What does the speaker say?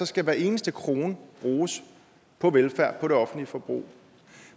skal hver eneste krone bruges på velfærd på det offentlige forbrug